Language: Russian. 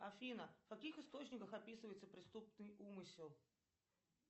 афина в каких источниках описывается преступный умысел